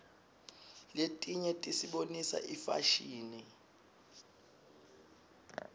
letinye tisibonisa ifashini